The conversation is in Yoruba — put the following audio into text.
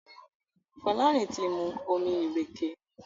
Folarin tí mu omí ìrèké.